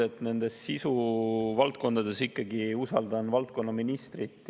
Veel kord: sisuvaldkondades ma ikkagi usaldan valdkonnaministrit.